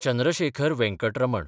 Chandrashekhar Venkat Raman